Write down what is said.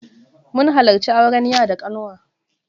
Mun halarci auren ya da ƙanwa.